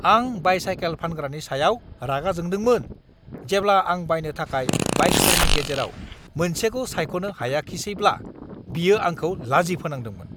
आं बाइ-साइकेल फानग्रानि सायाव रागा जोंदोंमोन जेब्ला आं बायनो थाखाय बाइकफोरनि गेजेराव मोनसेखौ सायख'नो हायाखिसैब्ला बियो आंखौ लाजि फोनांदोंमोन!